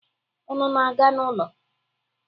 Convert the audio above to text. Unu na-aga n'ụlọ?